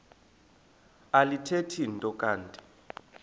alithethi nto kanti